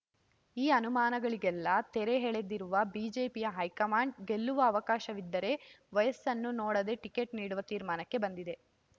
ಈ ಅನುಮಾನಗಳಿಗೆಲ್ಲಾ ತೆರೆ ಎಳೆದಿರುವ ಬಿಜೆಪಿಯ ಹೈಕಮಾಂಡ್ ಗೆಲ್ಲುವ ಅವಕಾಶವಿದ್ದರೆ ವಯಸ್ಸನ್ನು ನೋಡದೆ ಟಿಕೆಟ್ ನೀಡುವ ತೀರ್ಮಾನಕ್ಕೆ ಬಂದಿದೆ